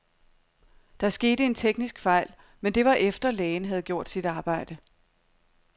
Der skete en teknisk fejl, men det var efter, lægen havde gjort sit arbejde.